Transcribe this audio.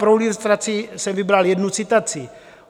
Pro ilustraci jsem vybral jednu citaci.